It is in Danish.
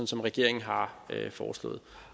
som regeringen har foreslået